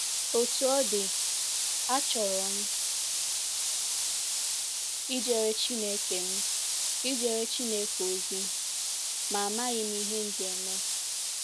Otú ọ dị, achọrọ m ijere Chineke m ijere Chineke ozi, ma amaghị m ihe m ga-eme.